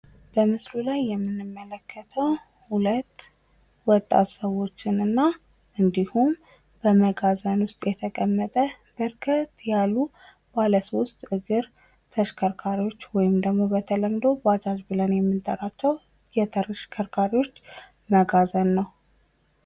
በምስሉ ላይ የምንመለከተው ሁለት ወጣት ሰዎችንና እንዲሁም በመጋዘን ውስጥ የተቀመጠ በርከት ያሉ ባለ ሶስት እግር ተሽከርካሪዎች ወይም ደግሞ በተለምዶ ባጃጅ ብለን የምንጠራቸው የተሽከርካሪዎች መጋዘን ነው።